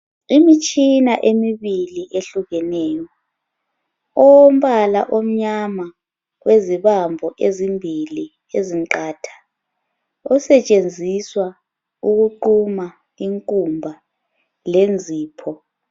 Imitshina emibili ehlukeneyo, owombala omnyama wezibambo ezimbili ezinqatha, osetshenziswa ukuquma inkumba lenzipho.